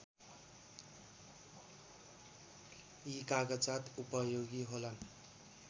यी कागजात उपयोगी होलान्